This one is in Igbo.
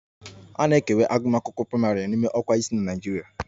A na-ekewa agụmakwụkwọ praịmarị n'ime ọkwa isii na Naịjirịa